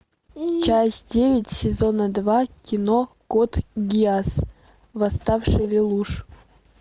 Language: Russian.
часть девять сезона два кино код гиас восставший лелуш